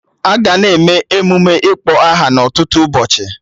Aga na-eme emụme ịkpọ aha na ọtụtụ ụbọchị